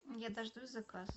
я дождусь заказ